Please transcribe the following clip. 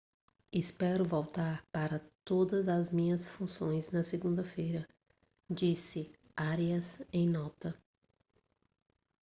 espero voltar para todas as minhas funções na segunda-feira disse arias em nota